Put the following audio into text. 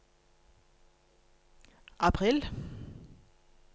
april